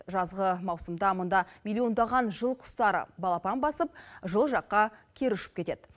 жазғы маусымда мұнда миллиондаған жыл құстары балапан басып жылы жаққа кері ұшып кетеді